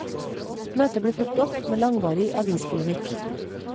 Møtet ble fulgt opp med langvarig avispolemikk.